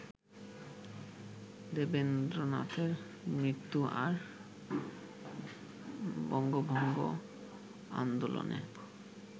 দেবেন্দ্রনাথের মৃত্যু আর বঙ্গভঙ্গ আন্দোলনে